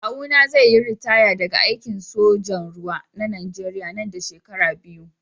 Kawuna zai yi ritaya daga aikin sojan ruwa na najeriya nan da shekaru biyu.